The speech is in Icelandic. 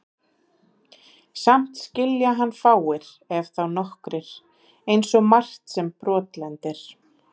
Samt skilja hann fáir, ef þá nokkrir, einsog margt sem brotlendir.